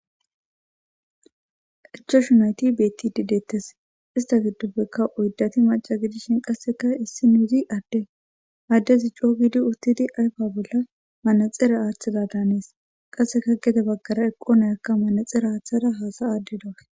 Ichashu nayyti betti dideettes ista giddoppeka oydati maca gidishin qasseka issi nuuzi adde addez i coo giidi uttidi ayfa bolla manaxera aaththida daanees qasseka gede baggara eqqo nayakka manaxera aaththada haasa aadde dawe